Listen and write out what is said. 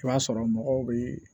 I b'a sɔrɔ mɔgɔw bee